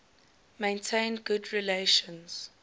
maintained good relations